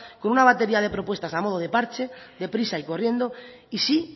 con una batería de propuestas a modo de parche deprisa y corriendo y sí